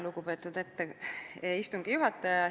Lugupeetud istungi juhataja!